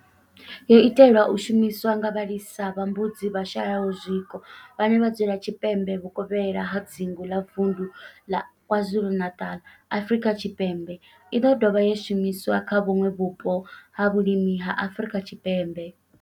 Yo itelwa u shumiswa nga vhalisa vha mbudzi vhashayaho zwiko vhane vha dzula tshipembe vhukovhela ha dzingu ḽa vunḓu ḽa KwaZulu-Natal, Afrika Tshipembe i ḓo dovha ya shumiswa kha vhuṋwe vhupo ha vhulimi ha Afrika Tshipembe.